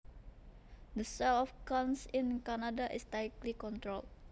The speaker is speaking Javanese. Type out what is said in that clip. The sale of guns in Canada is tightly controlled